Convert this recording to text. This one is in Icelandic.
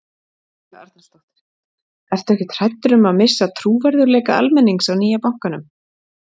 Helga Arnarsdóttir: Ertu ekkert hræddur um að missa trúverðugleika almennings á nýja bankanum?